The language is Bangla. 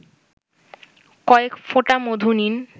কয়েক ফোঁটা মধু নিন